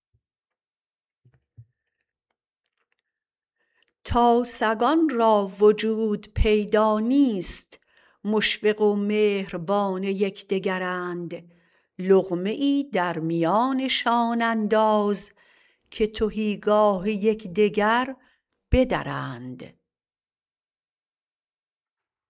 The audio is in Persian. تا سگان را وجود پیدا نیست مشفق و مهربان یکدگرند لقمه ای در میانشان انداز که تهیگاه یکدگر بدرند